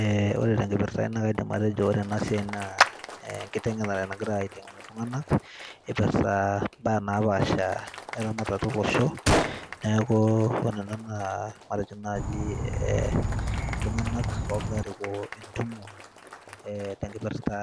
eh, ore tenkipirrta ai naa kaidim atejo ore enasiai naa enkiteng'enare nagirae aiteng'en iltung'anak ipirrta imbaa napaasha eramatata olosho neeku ore nanu enaa matejo naaji eh, iltung'anak ogira arikoo entumo eh, tenkipirrta